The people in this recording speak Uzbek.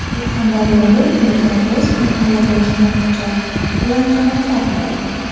Surxondaryoda erkak o‘z mahalladoshini pichoq bilan jarohatladi.